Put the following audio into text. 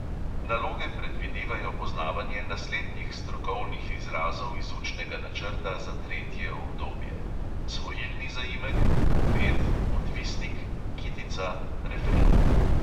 Naloge predvidevajo poznavanje naslednjih strokovnih izrazov iz učnega načrta za tretje obdobje: svojilni zaimek, poved, odvisnik; kitica, refren.